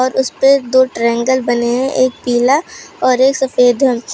उसपे दो ट्रायंगल बने हैं एक पीला और एक सफेद है।